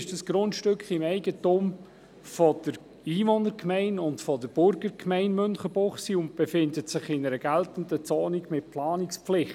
Zudem ist das Grundstück im Eigentum der Einwohner- und der Burgergemeinde Münchenbuchsee und liegt in einer geltenden Zone mit Planungspflicht.